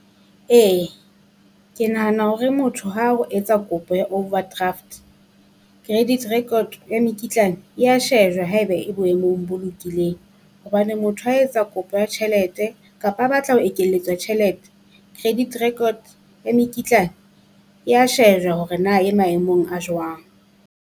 Ee, ke nahana hore motho ha o etsa kopo ya overdraft credit record ya mekitlane e ya shejwa haeba e boemong bo lokileng. Hobane motho ha etsa kopo ya tjhelete kapa a batla ho ekelletswa tjhelete, credit record ya mekitlane ya shejwa hore na e maemong a jwang.